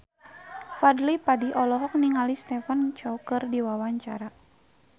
Fadly Padi olohok ningali Stephen Chow keur diwawancara